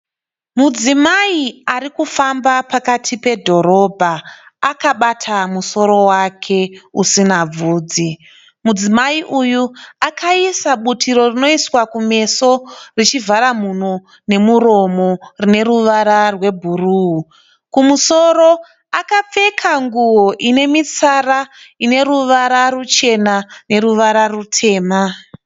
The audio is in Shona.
Mudzimai ari kufamba pakati pedhorobha akabata musoro wake usina bvunzi. Mudzimai uyu akaisa butiro rinoiswa kumeso richivahara mhuno nemuromo rine ruvara rwe buruu. Kumusoro akapfeka nguwo ine mitsara ine ruvara rwuchena nerwutema.